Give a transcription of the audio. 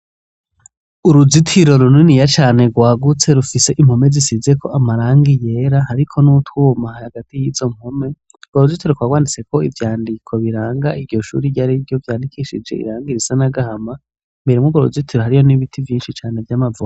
Uruzitiro runiniya cane rwagutse rufise impome zisize ko amarangi yera ariko n'utwuma hagati y'izo mpome rwa ruzitiro rwa rwanditse ko ivyandiko biranga iryo shuri ryariryo ryarikishije irangi risa n’agahama, imbere muri urwo ruzitiro hariyo n'ibiti vyinshi cane vyamavoka .